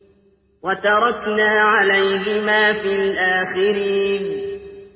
وَتَرَكْنَا عَلَيْهِمَا فِي الْآخِرِينَ